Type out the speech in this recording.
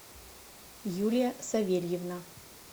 юлия савельевна